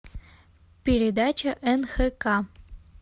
передача нхк